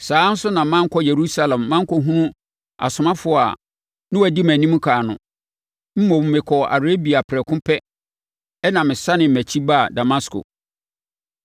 saa ara nso na mankɔ Yerusalem mankɔhunu asomafoɔ a na wɔdi mʼanim ɛkan no. Mmom, mekɔɔ Arabia prɛko pɛ ɛnna mesane mʼakyi baa Damasko.